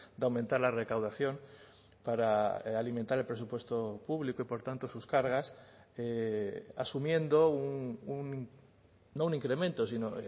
de aumentar la recaudación para alimentar el presupuesto público y por tanto sus cargas asumiendo no un incremento sino